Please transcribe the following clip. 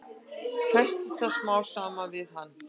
Festist það smám saman við hann.